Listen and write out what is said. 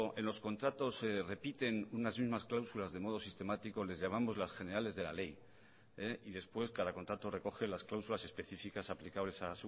en los contratos se repiten unas mismas cláusulas de modo sistemático les llamamos las generales de ley después cada contrato recoge las cláusulas especificas aplicables